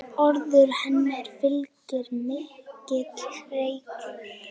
Orðum hennar fylgir mikill reykur.